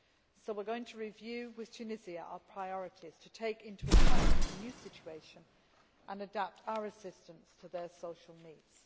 So we are going to review with Tunisia our priorities, to take account of the new situation and adapt our assistance to their social needs.